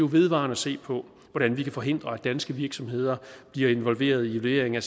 vedvarende se på hvordan vi kan forhindre at danske virksomheder bliver involveret i levering af